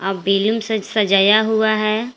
आ बिलूम से सजाया हुआ है।